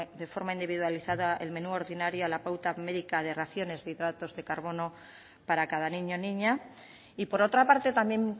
de forma individualizada el menú ordinario a la pauta medica de raciones de hidratos de carbono para cada niño niña y por otra parte también